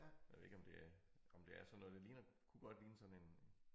Jeg ved ikke om det er om det er sådan noget der ligner kunne godt ligne sådan en